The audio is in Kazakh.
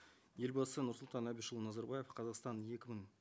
елбасы нұрсұлтан әбішұлы назарбаев қазақстан екі мың